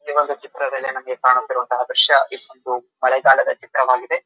ಈವಾಗ ಚಿತ್ರ ಮೇಲೆ ನಮಗೆ ಕಾಣುತ್ತಿರುವ ಚಿತ್ರ ಮಳೆಗಾಲದ ಚಿತ್ರವಾಗಿದೆ.